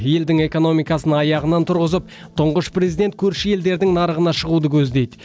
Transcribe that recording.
елдің экономикасын аяғынан тұрғызып тұңғыш президент көрші елдердің нарығына шығуды көздейді